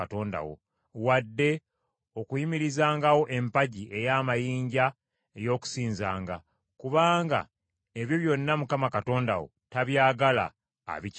wadde okuyimirizangawo empagi ey’amayinja ey’okusinzanga; kubanga ebyo byonna Mukama Katonda wo tabyagala abikyayira ddala.